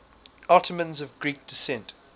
ottomans of greek descent